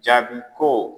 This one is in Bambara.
Jaabi ko